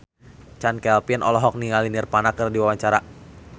Chand Kelvin olohok ningali Nirvana keur diwawancara